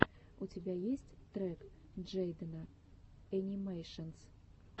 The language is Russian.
у тебя есть трек джейдена энимэйшенс